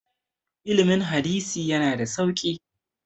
ilimin hadisi yana da sauki